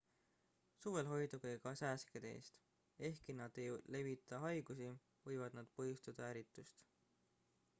suvel hoiduge ka sääskede eest ehkki nad ei levita haigusi võivad nad põhjustada ärritust